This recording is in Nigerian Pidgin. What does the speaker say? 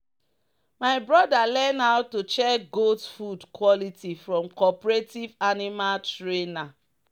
"my brother learn how to check goat food quality from cooperative animal trainer."